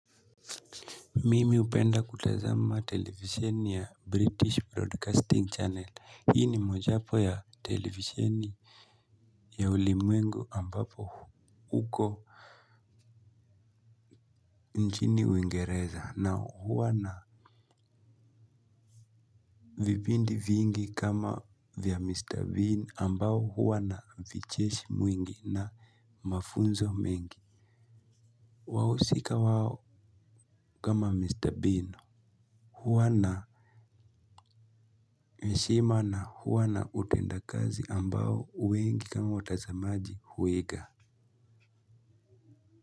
Mimi upenda kutazama televisheni ya British Broadcasting Channel. Hii ni mojapo ya televisheni ya ulimwengu ambapo huko nchini uingereza na huwa na vipindi vingi kama vya Mr. Bean ambao huwa na vicheshi mwingi na mafunzo mengi. Wahusika wao kama Mr. Bean. Huwana heshima na huwana utenda kazi ambao wengi kama watazamaji huiga.